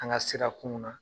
An ka sirakunw na